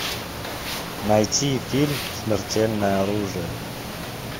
найти фильм смертельное оружие